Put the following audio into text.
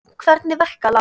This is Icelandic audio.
Hvernig verka, Lárus?